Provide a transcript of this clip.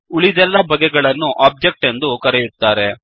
ಉಳಿದೆಲ್ಲ ಬಗೆಗಳನ್ನು ಒಬ್ಜೆಕ್ಟ್ ಎಂದು ಕರೆಯುತ್ತಾರೆ